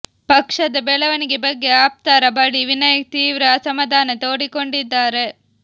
ಪಕ್ಷದ ಬೆಳವಣಿಗೆ ಬಗ್ಗೆ ಆಪ್ತರ ಬಳಿ ವಿನಯ್ ತೀವ್ರ ಅಸಮಾಧಾನ ತೊಡಿಕೊಂಡಿದ್ದಾರೆ